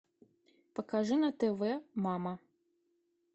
покажи на тв мама